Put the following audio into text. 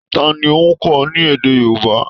Ta ni ó ń kọ́ ọ ní èdè Yorùbá?